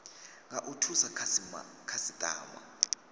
nga u thusa khasitama